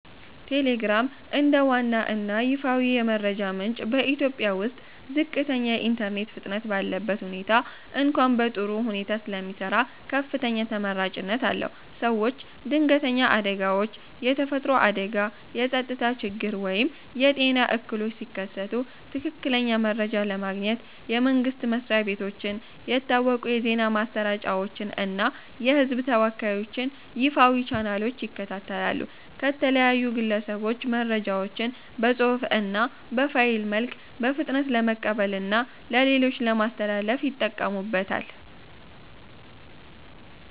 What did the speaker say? ቴሌግራም፦ እንደ ዋና እና ይፋዊ የመረጃ ምንጭ በኢትዮጵያ ውስጥ ዝቅተኛ የኢንተርኔት ፍጥነት ባለበት ሁኔታ እንኳ በጥሩ ሁኔታ ስለሚሰራ ከፍተኛ ተመራጭነት አለው። ሰዎች ድንገተኛ አደጋዎች (የተፈጥሮ አደጋ፣ የጸጥታ ችግር ወይም የጤና እክሎች) ሲከሰቱ ትክክለኛ መረጃ ለማግኘት የመንግስት መስሪያ ቤቶችን፣ የታወቁ የዜና ማሰራጫዎችን እና የህዝብ ተወካዮችን ይፋዊ ቻናሎች ይከታተላሉ። ከተለያዩ ግለሰቦች መረጃዎችን በፅሁፍ እና በፋይል መልክ በፍጥነት ለመቀበልና ለሌሎች ለማስተላለፍ ይጠቀሙበታል።